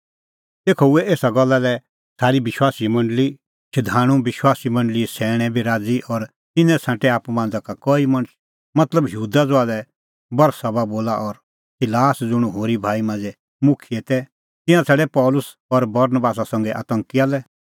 तेखअ हुऐ एसा गल्ला लै सारी विश्वासीए मंडल़ी शधाणूं विश्वासी मंडल़ीए सैणैं बी राज़ी और तिन्नैं छ़ांटै आप्पू मांझ़ा का कई मणछ मतलब यहूदा ज़हा लै बरसबा बोला और सिलास ज़ुंण होरी भाई मांझ़ै मुखियै तै तिंयां छ़ाडै पल़सी और बरनबासा संघै अन्ताकिया लै